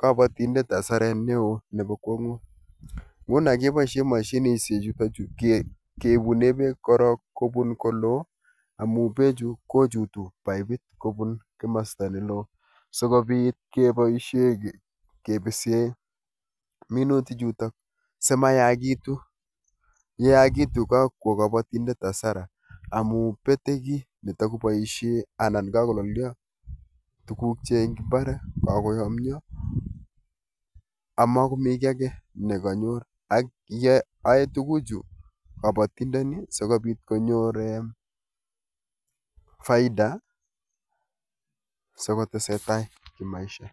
kabatindet hasaret neo nepo kwongut, nguno kepoishe mashininshechutok keibune beek korok kobun koloo amu bechu kochutu paipit kobun komasta neloo sikupit kepoishe kepisee minutichuto simayakitu, yekayakitu kakwo kapatindet hasara amu pete kiy netakopoishe anan kakololyo tugukchik eng mbar, kakoyomyo amakomi kiy ake nekanyor ak yoe tukuchu kabatindoni sikobit konyor um faida sikotesetai kimaisha.